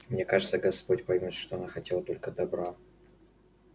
мне кажется господь поймёт что она хотела только добра